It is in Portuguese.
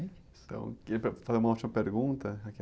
Então, queria fazer uma última pergunta.